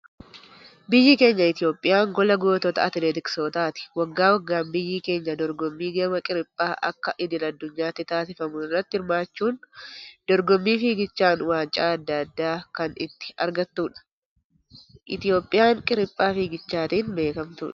Biyyi keenya Itoophiyaan gola gootota atileetiksootaati. Waggaa waggaan biyyi keenya dorgommii gama qiriphaa akka idil adunyaatti taasifamu irratti hirmaachuun dorgommii fiigichaan waancaa addaa addaa kan itti argattudha. Itoophiyaan qiriphaa fiigichaatiin beekamudha.